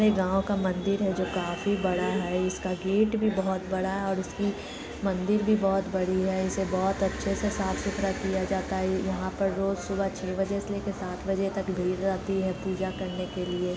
एक गाव का मंदिर है जो काफी बड़ा है इसका गेट भी बहुत बड़ा है ओर उसकी मंदिर भी बहुत बड़ी है इसे बहत अच्छे से साफ सुथरा किया जाता है यहाँ पर रोज सुबह छै बजे से लेके सात बजे तक भीड़ रहती है पूजा करने के लिए।